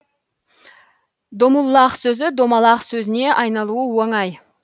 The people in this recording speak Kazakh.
домуллах сөзі домалақ сөзіне айналуы оңай